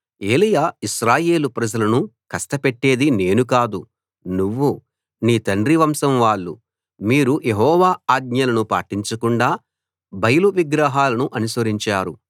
ఏలీయా ఇశ్రాయేలు ప్రజలను కష్ట పెట్టేది నేను కాదు నువ్వూ నీ తండ్రి వంశం వాళ్ళు మీరు యెహోవా ఆజ్ఞలను పాటించకుండా బయలు విగ్రహాలను అనుసరించారు